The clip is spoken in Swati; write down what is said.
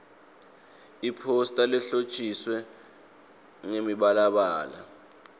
iphosta lehlotjiswe ngemibalabala